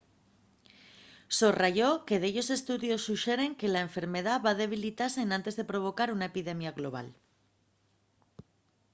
sorrayó que dellos estudios suxeren que la enfermedá va debilitase enantes de provocar una epidemia global